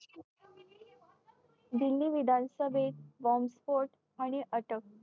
दिल्ली विधानसभेत बॉम्बस्फोट आणि अटक